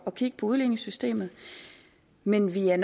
at kigge på udligningssystemet men vi er